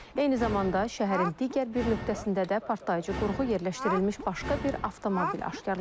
Eyni zamanda şəhərin digər bir nöqtəsində də partlayıcı qurğu yerləşdirilmiş başqa bir avtomobil aşkarlanıb.